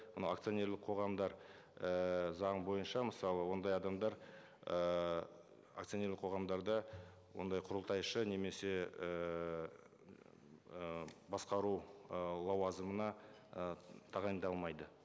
анау акционерлік қоғамдар ііі заң бойынша мысалы ондай адамдар ыыы акционерлік қоғамдарда ондай құрылтайшы немесе ііі басқару ы лауазымына ы тағайындалмайды